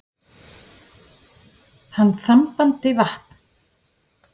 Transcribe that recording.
Hann þambandi vatn.